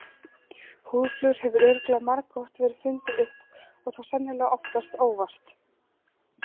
Húðflúr hefur örugglega margoft verið fundið upp og þá sennilega oftast óvart.